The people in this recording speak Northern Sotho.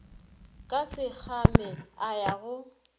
ka sekgame a ya go